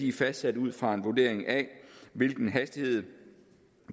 er fastsat ud fra en vurdering af hvilken hastighed